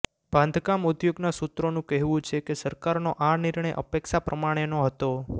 બાંધકામ ઉદ્યોગના સૂત્રોનું કહેવું છે કે સરકારનો આ નિર્ણય અપેક્ષા પ્રમાણેનો હતો